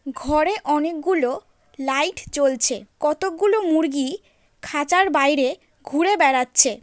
ঘরে অনেকগুলো লাইট জ্বলছে কতোকগুলো মুরগি খাঁচার বাইরে ঘুরে বেড়াচ্ছে।